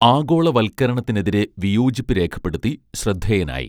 ആഗോളവൽക്കരണത്തിനെതിരെ വിയോജിപ്പു രേഖപ്പെടുത്തി ശ്രദ്ധേയനായി